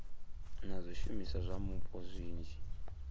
na zwishumiswa zwa mupo zwinzhi